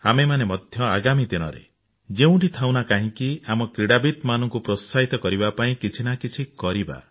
ଆମେମାନେ ମଧ୍ୟ ଆଗାମୀ ଦିନରେ ଯେଉଁଠି ଥାଉଁ ନା କାହିଁକି ଆମ କ୍ରୀଡାବିତମାନଙ୍କୁ ପ୍ରୋତ୍ସାହିତ କରିବା ପାଇଁ କିଛି ନା କିଛି କରିବା